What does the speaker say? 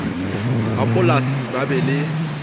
ba polasi ba be le